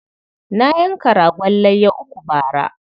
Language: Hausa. Na yanka ragon layya uku bara.